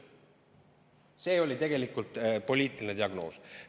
See oli tegelikult poliitiline diagnoos.